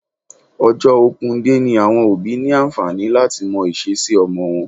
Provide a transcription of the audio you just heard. Ọjọ́ open day ni àwọn òbí ní àǹfààní láti mọ ìṣesí ọmọ wọn